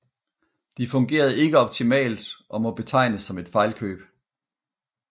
De fungerede ikke optimalt og må betegnes som et fejlkøb